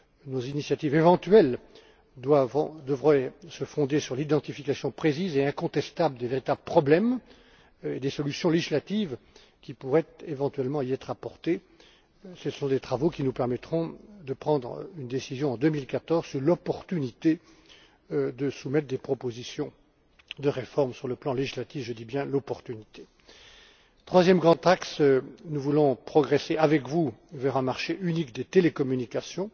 Nos initiatives éventuelles devraient se fonder sur l'identification précise et incontestable des véritables problèmes et des solutions législatives qui pourraient éventuellement y être apportées. Ce sont des travaux qui nous permettront de prendre une décision en 2014 sur l'opportunité de soumettre des propositions sur le plan législatif je dis bien l'opportunité. Troisième grand axe nous voulons progresser avec vous vers un marché unique des télécommunications.